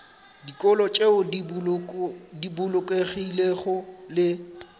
dikolo tšeo di bolokegilego le